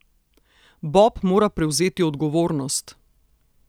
Bob mora prevzeti odgovornost!